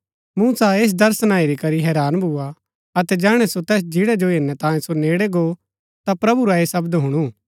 मूसा ऐस दर्शना हेरी करी हैरान भूआ अतै जैहणै सो तैस झिन्ड़ा जो हेरनै तांयें सो नेड़ै गो ता प्रभु रा ऐह शब्द हुणु